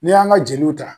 N'i y'an ka jeliw ta